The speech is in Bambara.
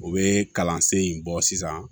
U bɛ kalansen in bɔ sisan